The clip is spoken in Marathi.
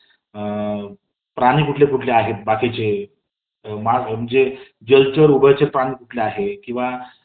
अ..प्राणी कोणकोणते आहेत बाकीचे . म्हणजे जलचर , उभयचर प्राणी कुठकुठले आहे . किंवा